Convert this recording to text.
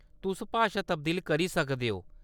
तुस भाशा तब्दील करी सकदे ओ।